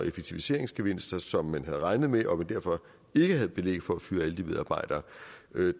effektiviseringsgevinster som man havde regnet med og derfor ikke havde belæg for at fyre alle de medarbejdere